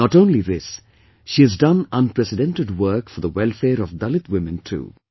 Not only this, she has done unprecedented work for the welfare of Dalit women too